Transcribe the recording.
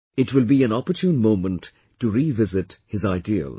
It will be an opportune moment to revisit his ideals